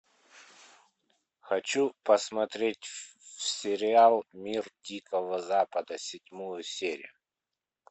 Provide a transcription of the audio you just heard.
хочу посмотреть сериал мир дикого запада седьмую серию